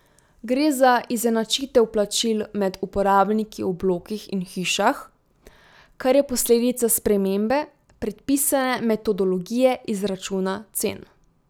Gre za izenačitev plačil med uporabniki v blokih in hišah, kar je posledica spremembe predpisane metodologije izračuna cen.